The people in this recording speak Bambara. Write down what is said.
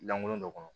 Langolo dɔ kɔnɔ